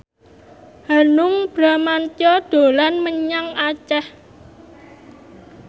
Hanung Bramantyo dolan menyang Aceh